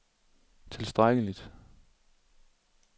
tilstrækkeligt